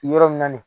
Yɔrɔ min na nin